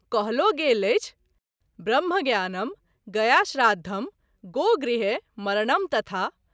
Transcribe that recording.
कहलो गेल अछि:- ब्रह्मज्ञानं गयाश्राद्धं गोगृहे मरणं तथा।